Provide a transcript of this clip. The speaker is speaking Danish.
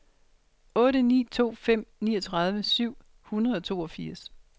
otte ni to fem niogtredive syv hundrede og toogfirs